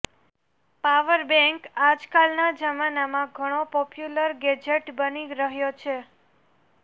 power bank આજકાલના જમાનામાં ઘણો પોપ્યુલર ગેજેટ બની રહ્યો છે